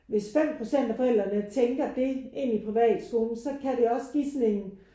Hvis 5 procent af forældrene tænker det inde i privatskolen så kan det også give sådan en